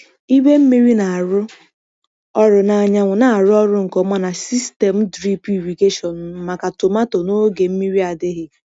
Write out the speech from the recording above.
Igwe mmiri na-arụ ọrụ na anyanwụ na-arụ ọrụ nke ọma na sistemụ drip irrigation m maka tomato na oge mmiri adịghị.